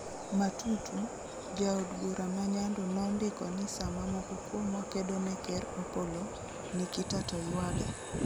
Matatu, jaod bura ma nyando nondiko ni sama moko kuomwa kedone ker Opollo, Nikita to ywage